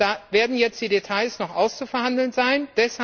Da werden jetzt die Details noch auszuverhandeln sein.